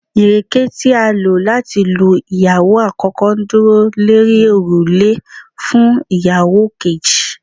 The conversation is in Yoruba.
ireke ti a lo lati lu iyawo akoko, nduro lori orule fun iyawo keji